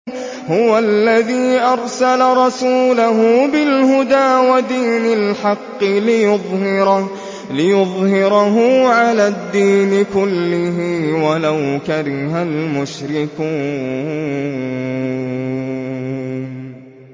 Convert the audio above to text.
هُوَ الَّذِي أَرْسَلَ رَسُولَهُ بِالْهُدَىٰ وَدِينِ الْحَقِّ لِيُظْهِرَهُ عَلَى الدِّينِ كُلِّهِ وَلَوْ كَرِهَ الْمُشْرِكُونَ